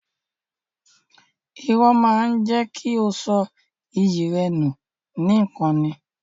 Irọ́ máa jẹ́ kí o sọ iyì rẹ nù nìkan ni.